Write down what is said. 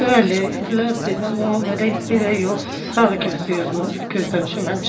Bəli, illərdir mən onu belə yox, sağ gözləyirdim, gözləmişəm həmişə.